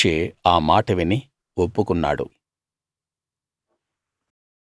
మోషే ఆ మాట విని ఒప్పుకున్నాడు